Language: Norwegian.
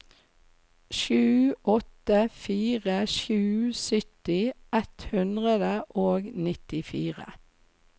sju åtte fire sju sytti ett hundre og nittifire